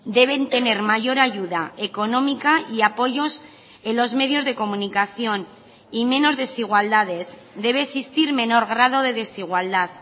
deben tener mayor ayuda económica y apoyos en los medios de comunicación y menos desigualdades debe existir menor grado de desigualdad